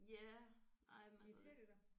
Ja ej men altså